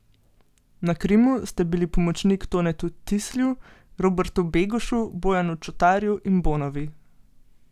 Na Krimu ste bili pomočnik Tonetu Tislju, Robertu Begušu, Bojanu Čotarju in Bonovi.